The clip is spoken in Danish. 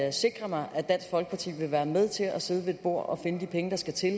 og sikre mig at dansk folkeparti vil være med til at sidde ved et bord og finde de penge der skal til